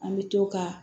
An bɛ to ka